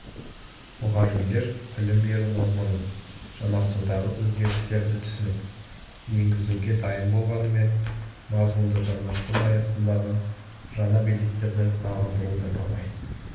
мұғалімдер білім беру мазмұнын жаңартудағы өзгерістерді түсініп енгізуге дайын болғанымен мазмұнды жаңарту аясындағы жаңа белестерді бағындыруда талай